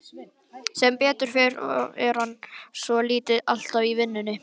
Sem betur fer er hann svotil alltaf í vinnunni.